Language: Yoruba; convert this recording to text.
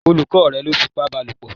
Olùkọ́ rẹ̀ lọ́ fipá báa lòpọ̀